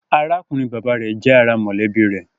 Arákùnrin-bàbá rẹ̀ jẹ́ ará mọ̀lẹ́bí rẹ̀